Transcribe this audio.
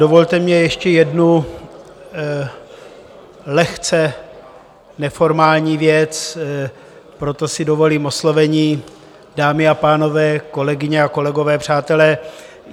Dovolte mi ještě jednu lehce neformální věc, proto si dovolím oslovení dámy a pánové, kolegyně a kolegové, přátelé.